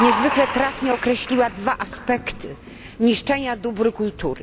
niezwykle trafnie określiła dwa aspekty niszczenia dóbr kultury.